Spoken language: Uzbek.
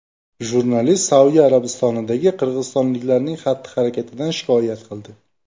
Jurnalist Saudiya Arabistonidagi qirg‘izistonliklarning xatti-harakatidan shikoyat qildi.